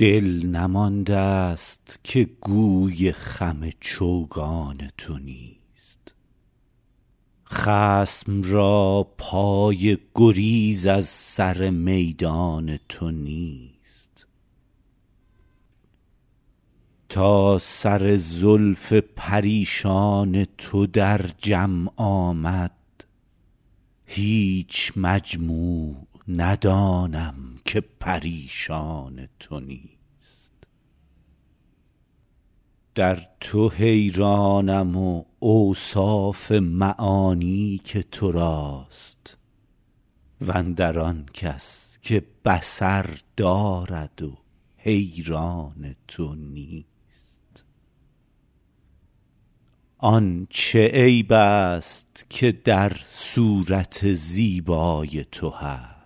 دل نمانده ست که گوی خم چوگان تو نیست خصم را پای گریز از سر میدان تو نیست تا سر زلف پریشان تو در جمع آمد هیچ مجموع ندانم که پریشان تو نیست در تو حیرانم و اوصاف معانی که تو راست و اندر آن کس که بصر دارد و حیران تو نیست آن چه عیب ست که در صورت زیبای تو هست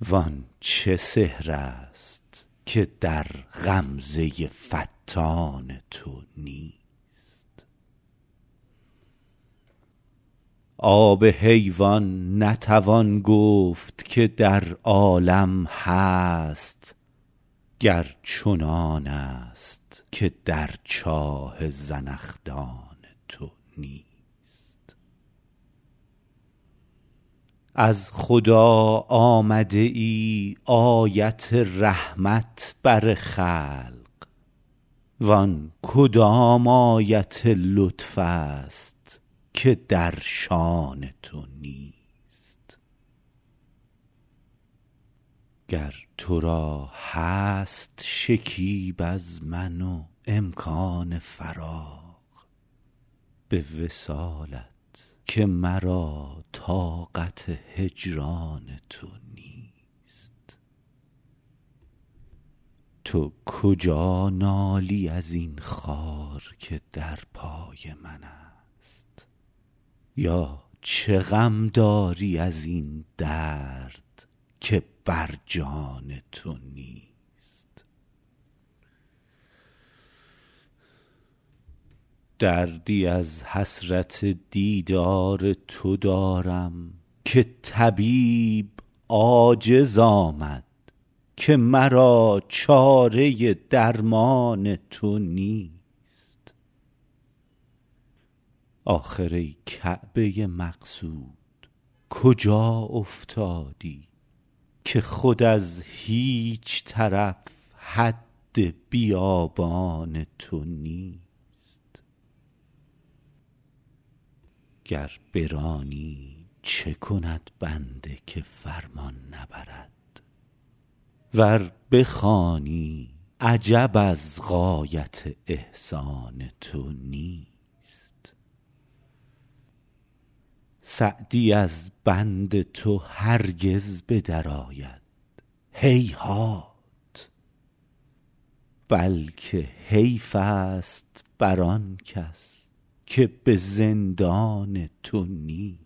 وان چه سحر ست که در غمزه فتان تو نیست آب حیوان نتوان گفت که در عالم هست گر چنانست که در چاه زنخدان تو نیست از خدا آمده ای آیت رحمت بر خلق وان کدام آیت لطف ست که در شأن تو نیست گر تو را هست شکیب از من و امکان فراغ به وصالت که مرا طاقت هجران تو نیست تو کجا نالی از این خار که در پای منست یا چه غم داری از این درد که بر جان تو نیست دردی از حسرت دیدار تو دارم که طبیب عاجز آمد که مرا چاره درمان تو نیست آخر ای کعبه مقصود کجا افتادی که خود از هیچ طرف حد بیابان تو نیست گر برانی چه کند بنده که فرمان نبرد ور بخوانی عجب از غایت احسان تو نیست سعدی از بند تو هرگز به درآید هیهات بلکه حیف ست بر آن کس که به زندان تو نیست